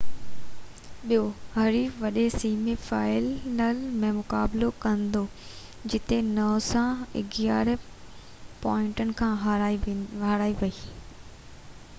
ٻيو حريف وڏي سيمي فائنل ۾ مقابلو ڪندو جتي نوسا 11 پوائنٽن کان هارائي ويئي